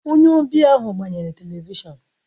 Onye ọbịa ahụ gbanyere Televishọn